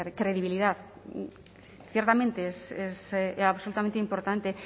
credibilidad ciertamente es absolutamente importante